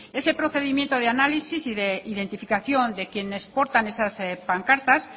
ese procedimiento de análisis y de identificación de quienes portan esas pancartas